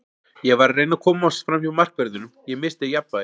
Ég var að reyna að komast framhjá markverðinum, ég missti jafnvægið.